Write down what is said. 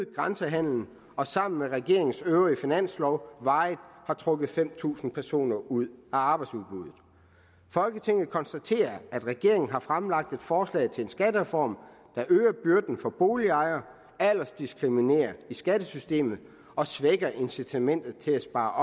grænsehandlen og sammen med regeringens øvrige finanslov varigt trukket fem tusind personer ud af arbejdsudbuddet folketinget konstaterer at regeringen har fremlagt et forslag til en skattereform der øger byrden for boligejerne aldersdiskriminerer i skattesystemet og svækker incitamentet til at spare